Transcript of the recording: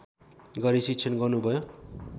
गरी शिक्षण गर्नुभयो